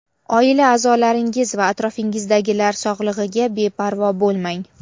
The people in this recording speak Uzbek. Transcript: oila a’zolaringiz va atrofingizdagilar sog‘ligiga beparvo bo‘lmang.